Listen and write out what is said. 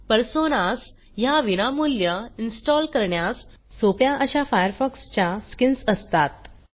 personas ह्या विनामूल्य install करण्यास सोप्या अश्या फायरफॉक्सच्या स्किन्स असतात